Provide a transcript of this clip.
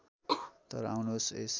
तर आउनुहोस् यस